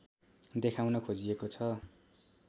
देखाउन खोजिएको छ